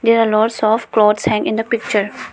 There are lots of clothes hang in the picture.